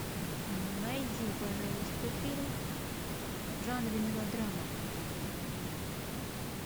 найди пожалуйста фильм в жанре мелодрама